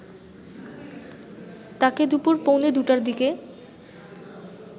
তাকে দুপুর পৌনে ২ টার দিকে